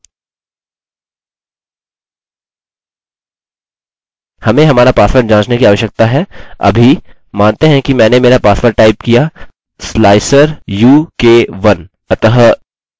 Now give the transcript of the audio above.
हमें हमारा पासवर्ड जाँचने की आवश्यकता है अभी मानते हैं कि मैंने मेरा पासवर्ड टाइप किया slicer u k 1